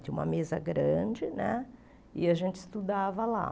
Tinha uma mesa grande né e a gente estudava lá.